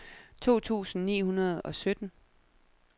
to tusind ni hundrede og sytten